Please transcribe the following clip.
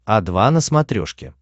о два на смотрешке